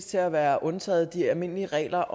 til at være undtaget de almindelige regler